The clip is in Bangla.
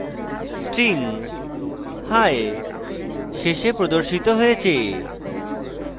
string hi শেষে প্রদর্শিত হয়েছে